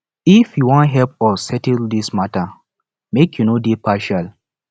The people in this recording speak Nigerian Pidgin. if you wan help us settle dis mata make you no dey partial